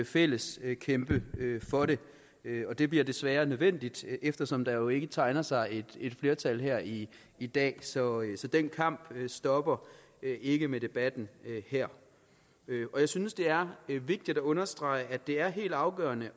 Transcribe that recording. fællesskab kan kæmpe for det og det bliver desværre nødvendigt eftersom der jo ikke tegner sig et flertal her i i dag så den kamp stopper ikke med debatten her jeg synes det er vigtigt at understrege at det er helt afgørende